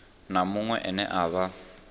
na muṅwe ane a vha